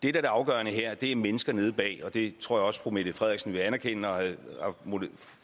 er det afgørende her er mennesker nede bagved og det tror jeg også fru mette frederiksen vil anerkende og